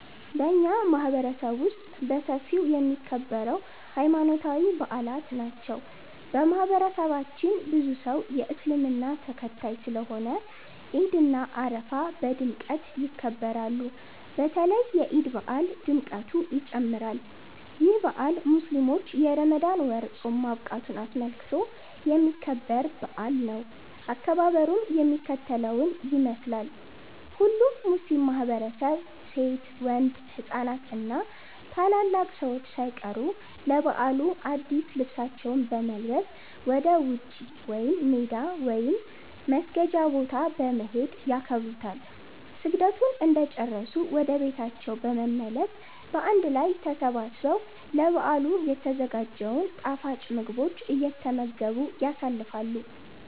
በኛ ማህበረሰብ ውስጥ በሰፊው የሚከበረው ሀይማኖታዊ በአላት ናቸው። በማህበረሰባችን ብዙ ሰው የእስልምና ተከታይ ስለሆነ ዒድ እና አረፋ በድምቀት ይከበራሉ። በተለይ የዒድ በአል ድምቀቱ ይጨምራል። ይህ በአል ሙስሊሞች የረመዳን ወር ፆም ማብቃቱን አስመልክቶ የሚከበር በአል ነው። አከባበሩም የሚከተለውን ይመስላል። ሁሉም ሙስሊም ማህበረሰብ ሴት፣ ወንድ፣ ህፃናት እና ታላላቅ ሰዎች ሳይቀሩ ለበዓሉ አድስ ልብሳቸውን በመልበስ ወደ ውጪ (ሜዳ) ወይም መስገጃ ቦታ በመሄድ ያከብሩታል። ስግደቱን እንደጨረሱ ወደ ቤታቸው በመመለስ በአንድ ላይ ተሰባስበው ለበዓሉ የተዘጋጅቱን ጣፋጭ ምግቦች እየተመገቡ ያሳልፋሉ።